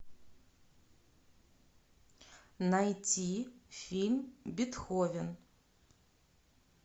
найти фильм бетховен